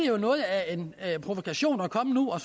jo noget af en provokation at komme nu og